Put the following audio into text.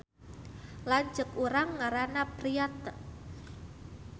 Lanceuk urang ngaranna Priatna